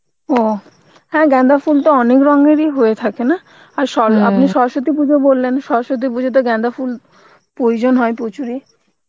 ও, হ্যাঁ গাঁদা ফুল তো অনেক রঙেরই হয়ে থাকে না, আর পুজো বললেন, সরস্বতী পুজোতে গাঁদা ফুল প্রয়োজন হয় প্রচুর ই